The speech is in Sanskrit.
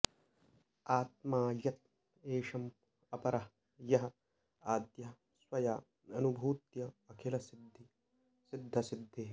आत्मा यत् एषम् अपरः यः आद्यः स्वया अनुभूत्य अखिलसिद्धसिद्धिः